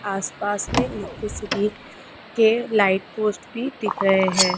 आस-पास मे इलेक्ट्रिसिटी के लाइट पोस्ट भी दिख रहे हैं।